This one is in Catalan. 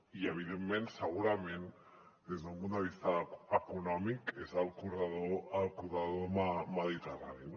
i evidentment segurament des d’un punt de vista econòmic és el corredor mediterrani